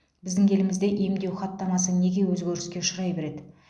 біздің елімізде емдеу хаттамасы неге өзгеріске ұшырай береді